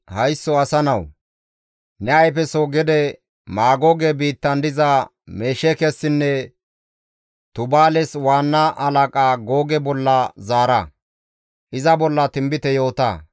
«Haysso asa nawu! Ne ayfeso gede Maagooge biittan diza Mesheekessinne Tubaales waanna halaqa Googe bolla zaara; iza bolla tinbite yoota.